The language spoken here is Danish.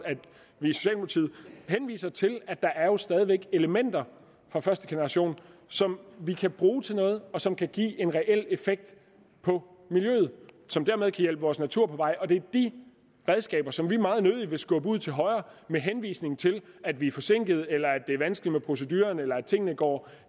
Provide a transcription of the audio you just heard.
henviser til at der jo stadig er elementer fra første generation som vi kan bruge til noget og som kan give en reel effekt på miljøet og som dermed hjælpe vores natur på vej og det er de redskaber som vi meget nødig vil skubbe ud til højre med henvisning til at vi er forsinkede eller at det er vanskeligt med proceduren eller at tingene går